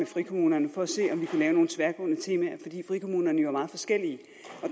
frikommunerne for at se om vi kunne lave nogle tværgående temaer fordi frikommunerne jo er meget forskellige